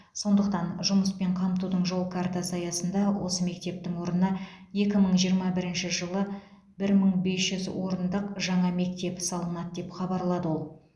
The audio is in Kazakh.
сондықтан жұмыспен қамтудың жол картасы аясында осы мектептің орнына екі мың жиырма бірінші жылы бір мың бес жүз орындық жаңа мектеп салынады деп хабарлады ол